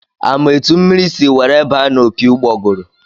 A ma etu mmiri si were baa n'opi ụgbọgụrụ?